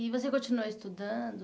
E você continuou estudando?